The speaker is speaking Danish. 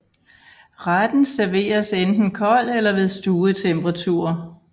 Retten serveres enten kold eller ved stuetemperatur